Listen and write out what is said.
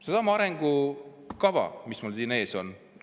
Seesama arengukava, mis mul siin ees on.